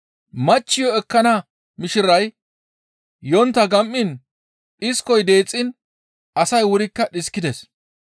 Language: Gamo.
Machchiyo ekkana mishiray yontta gam7iin dhiskoy deexxiin asay wurikka dhiskides.